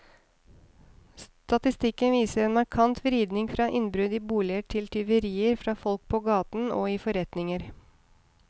Statistikken viser en markant vridning fra innbrudd i boliger til tyverier fra folk på gaten og i forretninger.